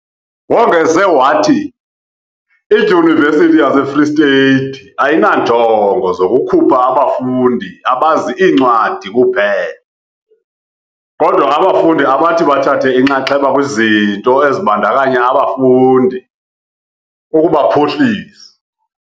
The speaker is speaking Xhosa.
Wongeze wathi, iDyunivesithi yase Freystata ayinanjongo zokukhupha abafundi abazi iincwadi kuphela, kodwa abafundi abathi bathathe inxaxheba kwizinto ezibandakanya abafundi, ukubaphuhlisa.